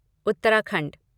Uttarakhand